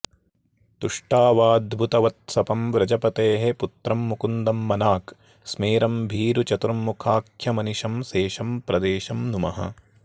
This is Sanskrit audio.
तुष्टावाद्भुतवत्सपं व्रजपतेः पुत्रं मुकुन्दं मनाक् स्मेरं भीरुचतुर्मुखाख्यमनिशं सेशं प्रदेशं नुमः